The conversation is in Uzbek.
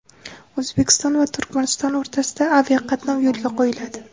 O‘zbekiston va Turkmaniston o‘rtasida aviaqatnov yo‘lga qo‘yiladi.